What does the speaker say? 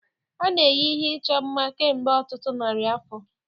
A na-eyi ihe ịchọ mma kemgbe ọtụtụ narị afọ.